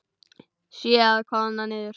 Sé að koðna niður.